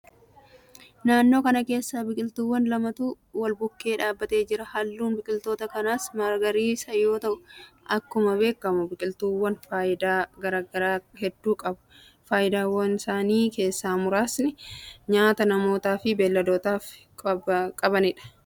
Naannoo kana keessa biqiltuuwwan lamatu walbukkee dhaabbatee jira. Halluun biqiltoota kanaas magariisa yoo ta'u, akkuma beekamu biqiltuuwwaan faayidaa garaa garaa hedduu qabu. Faayidaawwansaanii keessaa muraasni nyaata namootaa fi beelladootaa fi qabbanaaf.